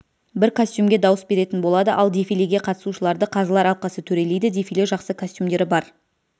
бір костюмге дауыс беретін болады ал дефилеге қатысушыларды қазылар алқасы төрелейді дефиле жақсы костюмдері бар